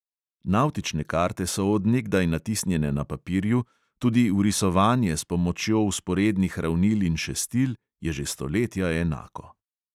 Navtične karte so od nekdaj natisnjene na papirju, tudi vrisovanje s pomočjo vzporednih ravnil in šestil je že stoletja enako.